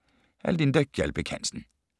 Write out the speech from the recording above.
Af Linda Gjaldbæk Hansen